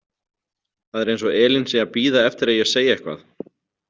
Það er eins og Elín sé að bíða eftir að ég segi eitthvað.